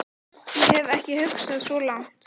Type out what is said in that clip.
Ég hef ekki hugsað svo langt.